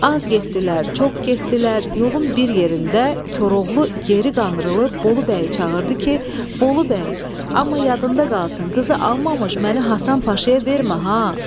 Az getdilər, çox getdilər, yolun bir yerində Koroğlu geri qandırılıb Bolu bəyi çağırdı ki, Bolu bəy, amma yadında qalsın, qızı almamış məni Həsən Paşaya vermə ha!"